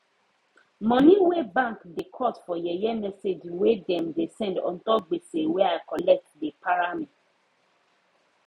money wey bank da cut for yeye message wey dem da send untop gbese wey i collect da para me